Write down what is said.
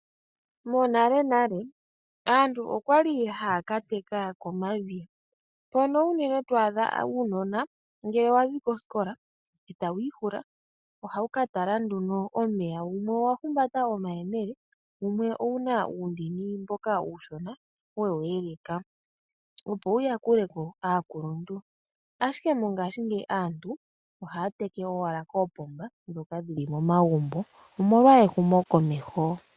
Monalenale aantu okwa li haya ka teka komadhiya. Mpono unene to adha uunona ngele wa zi kosikola e tawu ihula ohawu ka tala nduno omeya. Wumwe owa humbata omayemele wumwe owu na omandini mboka uushona we wu yeleka, opo wu yakule ko aakuluntu. Ashike mongashingeyi aantu ohaya teke owala koopomba ndhoka dhi li momagumbo, omolwa ehumokomeho.